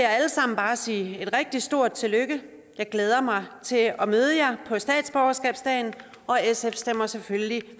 alle sammen bare sige et rigtig stort tillykke jeg glæder mig til at møde jer på statsborgerskabsdagen og sf stemmer selvfølgelig